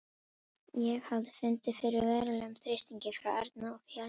Ég hafði fundið fyrir verulegum þrýstingi frá Erni og félögum.